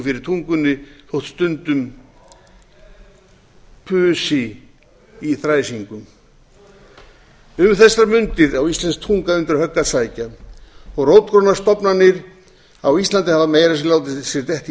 fyrir tungunni þótt stundum pusi í þræsingum um þessar mundir á íslensk tunga undir högg að sækja og rótgrónar stofnanir á íslandi hafa meira að segja látið